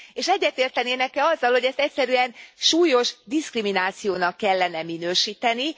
És egyetértenének e azzal, hogy ezt egyszerűen súlyos diszkriminációnak kellene minősíteni?